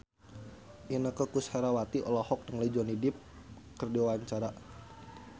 Inneke Koesherawati olohok ningali Johnny Depp keur diwawancara